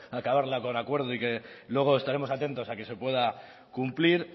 acabarla con acuerdo y que luego estaremos atentos a que se pueda cumplir